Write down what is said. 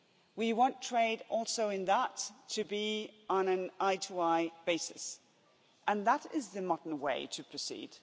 We want trade also in that to be on an eye to eye basis and that is the modern way to proceed.